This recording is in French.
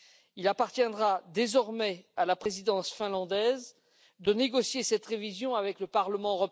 Il appartiendra désormais à la Présidence finlandaise de négocier cette révision avec le Parlement.